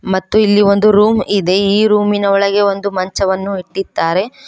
ಮತ್ತು ಇಲ್ಲಿ ರೂಮ್ ಇದೆ ರೂಮಿನ ಒಳಗೆ ಮಂಚವನ್ನೂ ಇಟ್ಟಿದ್ದಾರೆ.